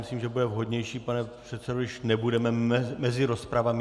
Myslím, že bude vhodnější, pane předsedo, když nebudeme mezi rozpravami.